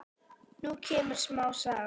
Nú kemur smá saga.